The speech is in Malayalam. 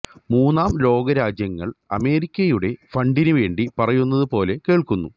മൂന്നാം ലോകരാജ്യങ്ങൾ അമേരിക്കയുടെ ഫണ്ടിന് വേണ്ടി പറയുന്നത് പോലെ കേൾക്കുന്നു